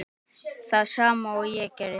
Það sama og ég gerði.